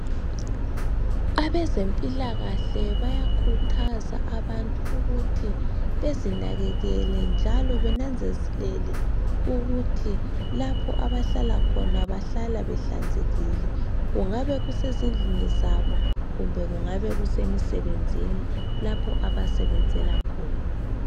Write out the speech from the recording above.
Abezempilakahle bayakhuthaza abantu ukuthi bezinakekele njalo benanzelele ukuthi lapho abahlala khona bahlala behlanzekile kungabe kuse zindlini zabo kumbe kungabe kusemisebenzini lapho abasebenzela khona.